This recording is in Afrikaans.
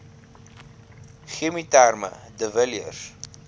chemieterme de villiers